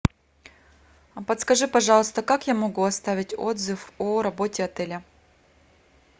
подскажи пожалуйста как я могу оставить отзыв о работе отеля